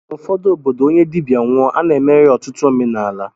N'ụfọdụ obodo, onye dibịa nwụọ, a na-emere ya ọtụtụ omenala